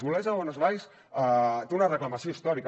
olesa de bonesvalls té una reclamació històrica